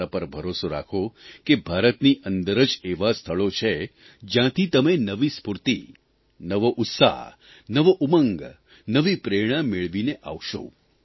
અને મારા પર ભરોસો રાખો કે ભારતની અંદર જ એવાં સ્થળો છે જયાંથી તમે નવી સ્ફૂર્તિ નવો ઉત્સાહ નવો ઉમંગ નવી પ્રેરણા મેળવીને આવશો